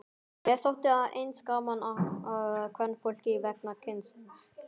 Mér þótti að eins gaman að kvenfólki vegna kynsins.